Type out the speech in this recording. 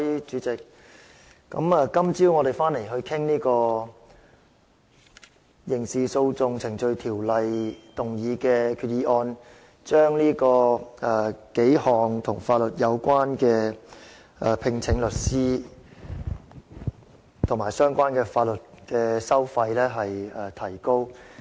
主席，我們今早回來討論的是根據《刑事訴訟程序條例》動議的擬議決議案，目的是把數項與法律援助有關的收費，例如聘請律師及相關的法律收費提高。